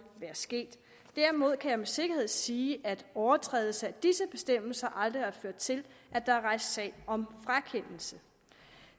være sket derimod kan jeg med sikkerhed sige at overtrædelse af disse bestemmelser aldrig har ført til at der er rejst sag om frakendelse